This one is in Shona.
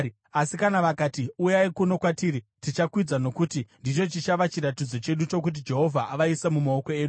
Asi kana vakati, ‘Uyai kuno kwatiri,’ tichakwidza, nokuti ndicho chichava chiratidzo chedu chokuti Jehovha avaisa mumaoko edu.”